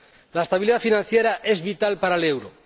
La estabilidad financiera es vital para el euro.